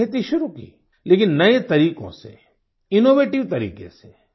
उन्होंने खेती शुरु की लेकिन नये तरीकों से इनोवेटिव तरीके से